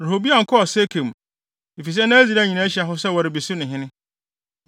Rehoboam kɔɔ Sekem, efisɛ na Israel nyinaa ahyia hɔ sɛ wɔrebesi no hene.